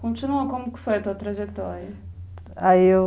Continua, como que foi a tua trajetória? aí eu